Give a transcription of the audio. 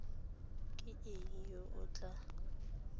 ke ena yo o tla